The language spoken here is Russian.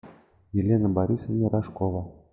елена борисовна рожкова